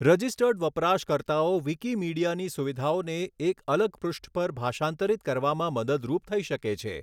Registered વપરાશકર્તાઓ વિકીમીડિયાની સુવિધાઓને એક અલગ પૃષ્ઠ પર ભાષાંતરિત કરવામાં મદદરૂપ થઈ શકે છે.